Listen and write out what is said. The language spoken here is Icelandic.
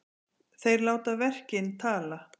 Þeir láta verkin tala